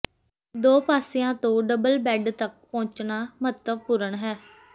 ਦੋ ਪਾਸਿਆਂ ਤੋਂ ਡਬਲ ਬੈੱਡ ਤਕ ਪਹੁੰਚਣਾ ਮਹੱਤਵਪੂਰਨ ਹੈ